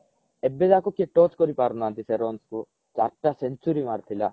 ଏବେ ଯାଏଙ୍କେ କେହି touch କରି ପାରୁ ନାହାନ୍ତି ସେ runs କୁ ଚାରିଟା century ମାରିଥିଲା